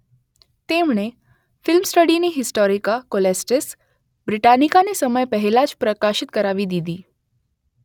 તેમણે ફ્લેમસ્ટીડની Historia Coelestis બ્રિટાનિકાને સમય પહેલાં જ પ્રકાશિત કરાવી દીધી